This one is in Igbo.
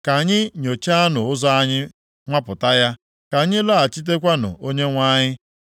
Ka anyị nyochaanụ ụzọ anyị nwapụta ya. Ka anyị lọghachikwutenụ Onyenwe anyị.